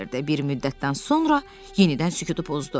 Bir müddətdən sonra yenidən sükutu pozdu.